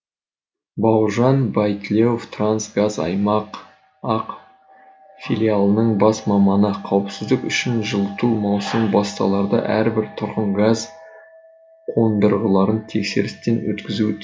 бауыржан байтілеуов қазтрансгаз аймақ ақ филиалының бас маманы қауіпсіздік үшін жылыту маусымы басталарда әрбір тұрғын газ қондырғыларын тексерістен өткізуі тиіс